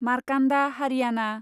Markanda Haryana